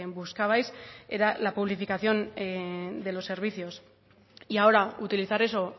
buscabais era la publificación de los servicios y ahora utilizar eso